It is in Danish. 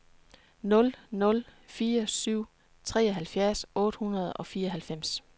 nul nul fire syv treoghalvfjerds otte hundrede og fireoghalvfems